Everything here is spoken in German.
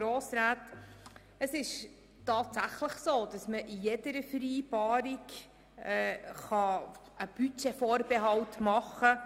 Tatsächlich kann man in jeder Vereinbarung einen Budgetvorbehalt machen.